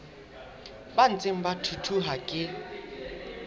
ba ntseng ba thuthuha ke